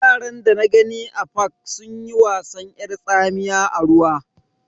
Yaran dana gani a fak sunyi wasan yar zamiya a ruwa.